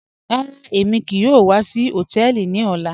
Rárá, èmi kíì yòò wà sí họ̀tẹ̀ẹlì ní ọ̀là.